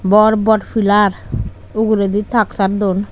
bor bor pilar oguredi taksar dun.